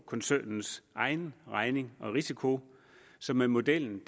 koncernens egen regning og risiko så med modellen